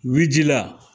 Wi jila